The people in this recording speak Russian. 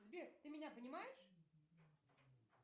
сбер ты меня понимаешь